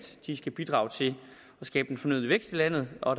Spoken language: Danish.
de skal bidrage til at skabe den fornødne vækst i landet og